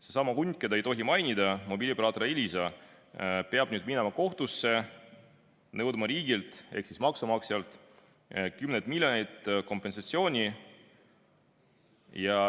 Seesama hunt, keda ei tohi mainida, ehk mobiilioperaator Elisa peab nüüd minema kohtusse, nõudma riigilt ehk maksumaksjalt kümneid miljoneid kompensatsiooni.